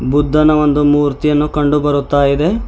ಬುದ್ಧನ ಒಂದು ಮೂರ್ತಿಯನ್ನು ಕಂಡು ಬರುತ್ತಾ ಇದೆ.